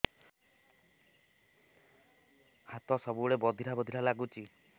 ହାତ ସବୁବେଳେ ବଧିରା ବଧିରା ଲାଗୁଚି